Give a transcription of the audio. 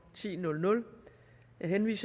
med mit